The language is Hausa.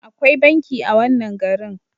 Akwai banki a wannan garin.